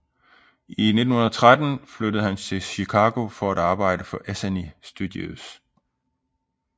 I 1913 flyttede han til Chicago for at arbejde for Essanay Studios